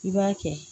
I b'a kɛ